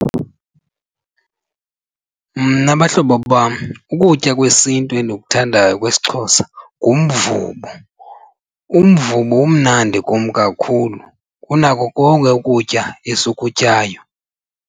Mna bahlobo bam ukutya kwesiNtu endikuthandayo kwesiXhosa ngumvubo. Umvubo umnandi kum kakhulu kunako konke ukutya esikutyayo.